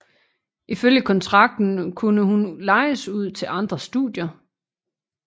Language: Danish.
Ifølge kontrakten unne hun lejes ud til andre studier